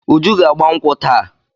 Uju ga-agba nkwụ́ taa.